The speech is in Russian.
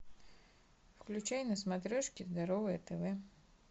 включай на смотрешке здоровое тв